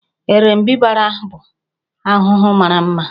Erembịbara bụ ahụhụ mara mma